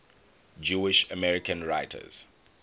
jewish american writers